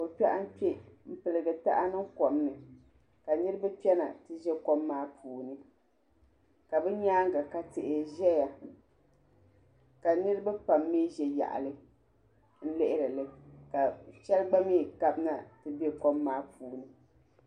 Ko kpɛɣaɣu n kpɛ m piligi taha niŋ kom ni ka niriba kpɛ na n ti zɛ kom maa puuni ka di yɛanga ka tihi zɛya ka niriba pam mi zɛ yaɣili n lihiri li ka shɛli gba mi kabi na ti bɛ kom maa puuni.